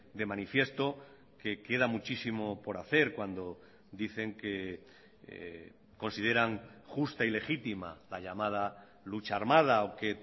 de manifiesto que queda muchísimo por hacer cuando dicen que consideran justa y legítima la llamada lucha armada o que